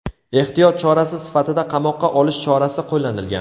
Ehtiyot chorasi sifatida qamoqqa olish chorasi qo‘llanilgan.